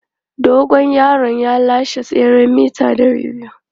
Dogon yaron ya lashe tseren mita 200.